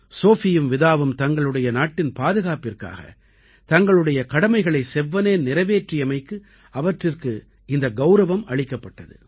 சோஃபியும் விதாவும் தங்களுடைய நாட்டின் பாதுகாப்பிற்காக தங்களுடைய கடமைகளை செவ்வனே நிறைவேற்றியமைக்கு அவற்றிற்கு இந்த கௌரவம் அளிக்கப்பட்டது